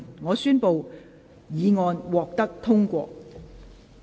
我宣布議案獲得通過。